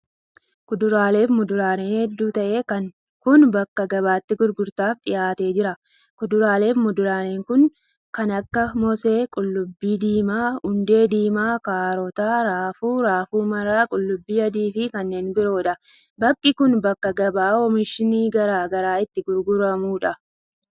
Kuduraalee fi muduraaleen hedduu ta'e kun, bakka gabaatti gurgurtaaf dhihaatee jira. Kuduraalee fi muduraaleen kun kan akka: moosee, qullubbii diimaa, hundee diimaa, kaarota, raafuu, raafuu maramaa, qullubbii adii fi kanneen biroo dha. Bakki kun, bakka gabaa oomishni garaa garaa itti gurguramuu dha.